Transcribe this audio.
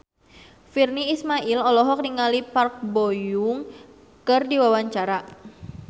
Virnie Ismail olohok ningali Park Bo Yung keur diwawancara